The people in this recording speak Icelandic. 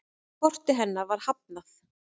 Korti hennar var hafnað.